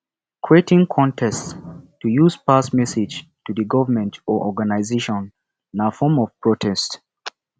creating contest to use pass message to the government or organisation na form of protest